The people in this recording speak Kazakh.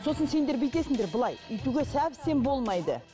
сосын сендер бүйтесіңдер былай өйтуге совсем болмайды